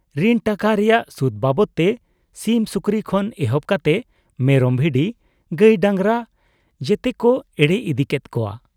ᱨᱤᱱ ᱴᱟᱠᱟ ᱨᱮᱭᱟᱜ ᱥᱩᱫᱽ ᱵᱟᱵᱚᱛ ᱛᱮ ᱥᱤᱢ ᱥᱩᱠᱨᱤ ᱠᱷᱚᱱ ᱮᱦᱚᱵ ᱠᱟᱛᱮ ᱢᱮᱨᱚᱢ ᱵᱷᱤᱰᱤ, ᱜᱟᱹᱭ ᱰᱟᱸᱜᱽᱨᱟ ᱡᱚᱛᱚᱠᱚ ᱮᱲᱮ ᱤᱫᱤ ᱠᱮᱫ ᱠᱚᱣᱟ ᱾